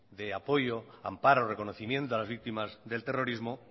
de apoyo de amparo de reconocimiento a las víctimas del terrorismo